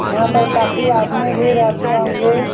यहाँ पर काफी आदमी भी रहते होंगे।